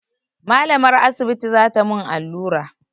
Malamar asibiti za ta mun allura